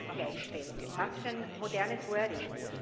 Machtgleichstellung was für ein modernes wording.